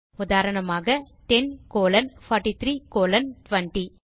உதாரணமாக 10 colon 43 colon 20